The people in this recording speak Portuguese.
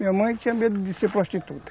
Minha mãe tinha medo de ser prostituta.